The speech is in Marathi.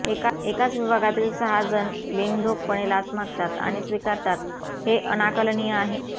एकाच विभागातील सहा जण बिनधोकपणे लाच मागतात आणि स्वीकारतात हे अनाकलनीय आहे